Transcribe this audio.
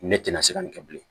Ne tɛna se ka nin kɛ bilen